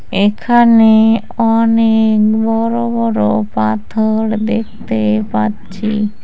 এখানে অনেক বড় বড় পাথর দেখতে পাচ্ছি।